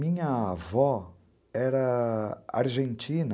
Minha avó era argentina.